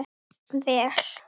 Vel